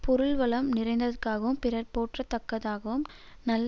பொருள் வளம் நிறைந்ததாகவும் பிறர் போற்ற தக்கதாகவும் கேடற்றதாகவும்